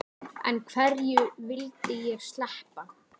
En hverju vildi ég sleppa?